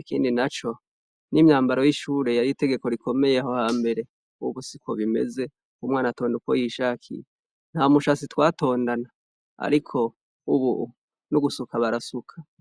ikindi naco n'imyamabaro y'ishure yari itegeko rikomeye aho hambere ariko ubu siko bikimeze umwana yitondera uko yishakiye nta mushatsi twatondana ariko ubu n'ugusuka abarasuka .